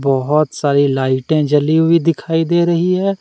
बहुत सारी लाइटे जली हुई दिखाई दे रही है।